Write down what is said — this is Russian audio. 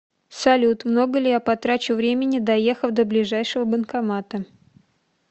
салют много ли я потрачу времени доехав до ближайшего банкомата